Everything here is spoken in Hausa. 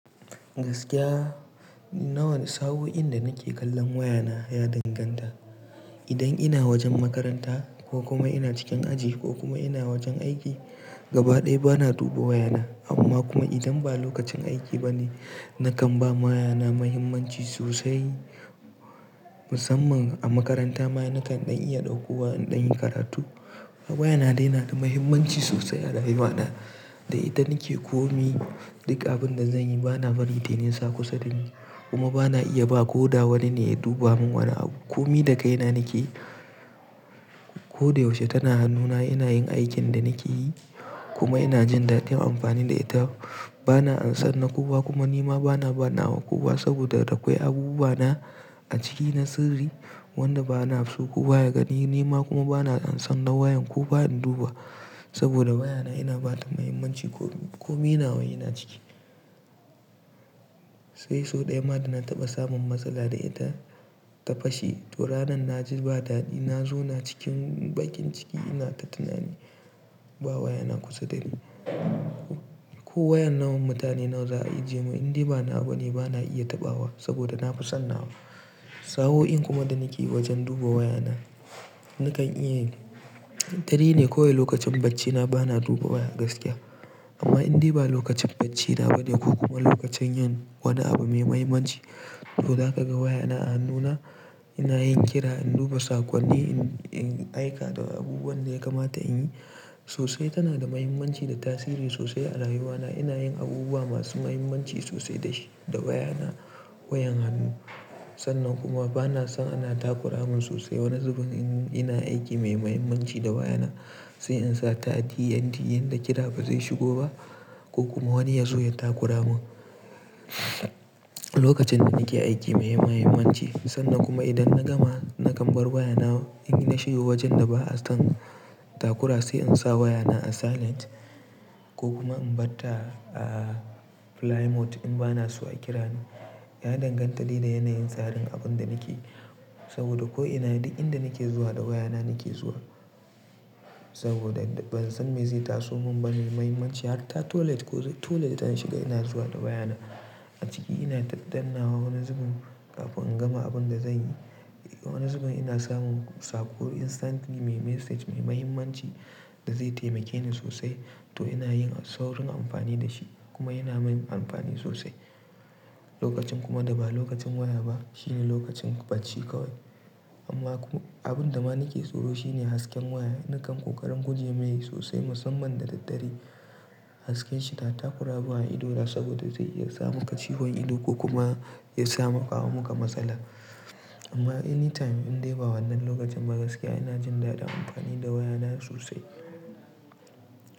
Gaskiya nawane, sa'o'in da nake kallon wayana ya danganta. Idan ina wajen makaranta ko kuma ina cikin aji ko kuma ina wajen aiki, gaba ɗaya bana duba wayana. Amma kuma idan ba lokacin aiki ba ne, nakan bama wayana mahimmanci sosai. Musamman a makaranta ma nakan ɗan iya ɗauko waya in ɗan yi karatu. Wayana dai na da mahimmanci sosai a rayuwana. Da ita nake komi duk abin da zanyi bana barin tai nisa kusa da ni. Kuma bana iya ba ko da wani ne ya duba mun wani abu. Komi da kaina nake. Ko da yaushe tana hannuna ina yin aikin da nake yi kuma ina jin dadin amfani da ita. Bana ansan na kowa kuma nima bana ba nawa kowa saboda da akwai abubuwa na a ciki na sirri wanda bana so kowa ya gani. Nima kuma bana ansan na wayan kowa in duba saboda wayana ina bata mahimmanci komi, komi nawa yina ciki. Eh, sau ɗaya ma da na taɓa samun matsala da ita ta fashe to ranan na ji ba dadi. Na zauna cikin bakin ciki ina ta tunani ba wayana kusa da ni. Ko wayar nawa mutane nawa za a ajiye mun indai banawa bane bana iya taɓawa saboda na fi son nawa. Sa'o'in kuma da nake wajen duba wayana nakan iya, dare ne kawai lokacin bacci na bana duba waya gaskiya. Amma indai ba lokacin bacci na ba ne ko kuma lokacin yin wani abu mai mahimmanci to zaka ga waya na a hannuna ina yin kira in duba sakonni in, in aika da abubuwan da ya kamata in yi. Sosai tana da mahimmanci da tasiri sosai a rayuwana. Ina yin abubuwa masu mahimmanci sosai da shi, da wayana wayan hannu. Sannan kuma bana son ana takura mun sosai wani zubin in ina aiki mai mahimmanci da wayana sai in sa ta DND yanda kira ba zai shigo ba ko kuma wani ya zo ya takura mun. Lokacin da nake aiki mai mahimmanci sannan kuma idan na gama nakan bar wayana in na shiga wajen da ba'a son takura sai in sa wayana a silent ko kuma in bar ta a fly mode in bana so a kira ni. Ya danganta dai da yanayin tsarin abun da nake yi saboda ko ina duk inda nake zuwa da wayana nake zuwa saboda ban san me zai taso mun ba. Mai mahimmanci har ta toilet ko toilet zan shiga ina zuwa da wayana. A ciki ina dandannawa wani zubin kafin in gama abun da zanyi. Wani zubin ina samun saƙo instantly mai message mai mahimmanci da zai taimake ni sosai to ina yin saurin amfani da shi kuma yana min amfani sosai. Lokacin kuma da ba lokacin waya ba shine lokacin bacci kawai. Amma kuma abun da ma nake tsoro shine hasken waya. Nakan ƙoƙarin guje mai sosai musamman da daddare hasken shi ta takuramun a idona saboda zai iya samaka ciwon ido ko kuma ya saya maka, kawo maka matsala. Amma anytime indai ba wannan lokacin ba gaskiya ina jin dadin amfani da wayana sosai.